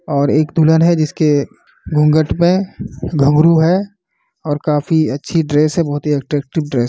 और एक दुल्हन है जिसके घूंघट मे घुंघरू है काफी अच्छी ड्रेस है बहुत ही अट्रैक्टिव ड्रेस ।